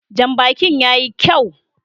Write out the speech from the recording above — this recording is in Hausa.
Janbakin ya yi kyau